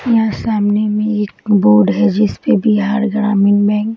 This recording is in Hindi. यहाँ सामने में एक बोर्ड है जिस पे बिहार ग्रामीण बैंक --